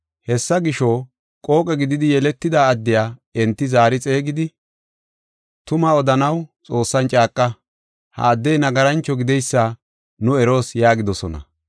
Hessa gisho, qooqe gididi yeletida addiya enti zaari xeegidi, “Tumaa odanaw Xoossan caaqa; ha addey nagarancho gideysa nu eroos” yaagidosona.